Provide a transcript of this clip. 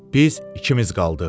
Biz ikimiz qaldıq.